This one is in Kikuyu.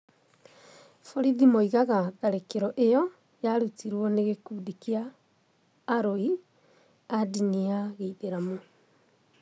Borithi moigaga tharĩkĩro ĩyo yarutirũo nĩ gĩkundi kĩa aroi a ndini ya gĩithĩramu.